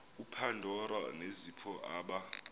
upandora nezipho aba